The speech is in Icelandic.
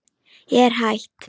Ég er hætt.